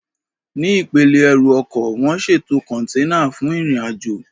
Ní ipele ẹrù ọkọ̀, wọ́n ṣètò kọ̀ǹténà fún ìrìnàjò